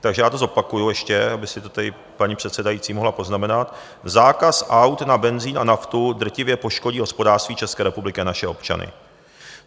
Takže já to zopakuji ještě, aby si to tady paní předsedající mohla poznamenat: Zákaz aut na benzin a naftu drtivě poškodí hospodářství České republiky a naše občany.